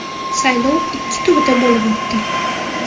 Saylov ikki turda bo‘lib o‘tdi.